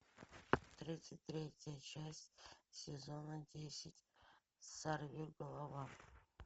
тридцать третья часть сезона десять сорви голова